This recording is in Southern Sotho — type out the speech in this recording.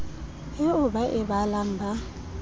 eo ba e balang ba